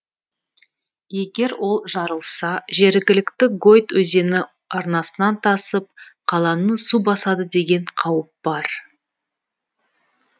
егер ол жарылса жергілікті гойт өзені арнасынан тасып қаланы су басады деген қауіп бар